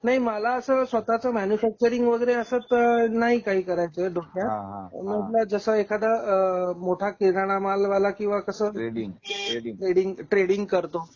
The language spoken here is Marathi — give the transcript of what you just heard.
नाही मला अस स्वतःचा मॅनुफॅकचरिंग वगैरे असं तर नाही करायच आहे. पण म्हंटल जसा एखादा अ मोठा किराणा मालवाला किंवा कस ट्रेडिंग ट्रेडिंग करतो.